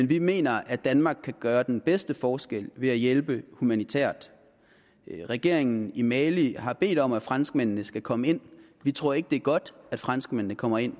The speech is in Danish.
vi mener at danmark kan gøre den bedste forskel ved at hjælpe humanitært regeringen i mali har bedt om at franskmændene skal komme ind vi tror ikke at det er godt at franskmændene kommer ind